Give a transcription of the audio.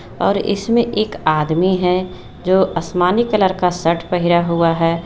और इसमें एक आदमी है जो आसमानी कलर का शर्ट पहिरा हुआ है।